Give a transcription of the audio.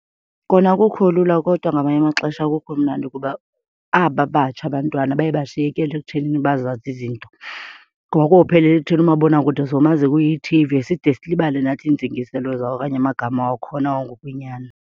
Kona akukho lula kodwa ngamanye amaxesha akukho mnandi kuba aba batsha abantwana baye bashiyekele ekuthenini bazazi izinto. Ngoba kophelela ekutheni umabonakude somazi kuyi-T_V side silibale nathi iintsingiselo zawo okanye amagama wakhona wangokwenyani.